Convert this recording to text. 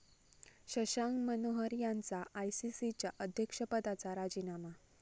शशांक मनोहर यांचा आयसीसीच्या अध्यक्षपदाचा राजीनामा